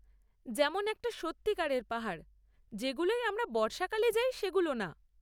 যেমন একটা সত্যিকারের পাহাড়, যেগুলোয় আমরা বর্ষাকালে যাই সেগুলো না।